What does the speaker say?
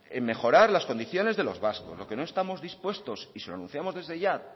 en mejorar las condiciones de los vascos lo que no estamos dispuestos y se lo anunciamos desde ya